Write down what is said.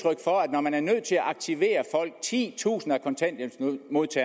når man er nødt til at aktivere titusinder